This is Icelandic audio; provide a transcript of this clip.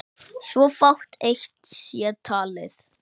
svo fátt eitt sé talið.